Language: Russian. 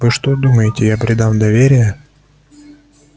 вы что думаете я предам доверие